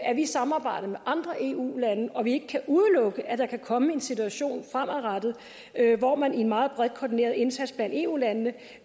at vi samarbejder med andre eu lande og at vi ikke kan udelukke at der kan komme en situation fremadrettet hvor man i en meget bredt koordineret indsats blandt eu landene